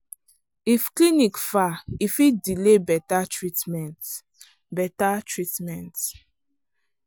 if clinic far e fit delay better treatment. better treatment.